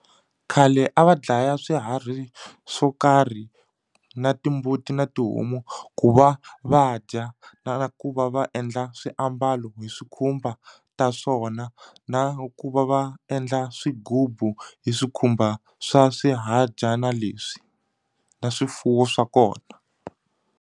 Khale a va dlaya swiharhi swo karhi na timbuti na tihomu ku va va dya na ku va va endla swiambalo hi swikhumba va ta swona na ku va va endla swigubu hi swikhumba swa swihadyana leswi na swifuwo swa kona.